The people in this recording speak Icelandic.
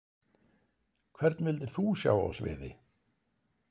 Hvern vildir þú sjá á sviði?